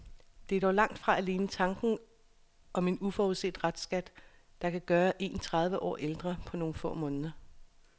Det er dog langt fra alene tanken om en uforudset restskat, som kan gøre en tredive år ældre på nogle få måneder.